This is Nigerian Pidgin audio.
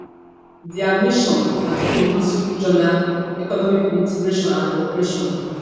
dia mission na to promote regional economic integration and cooperation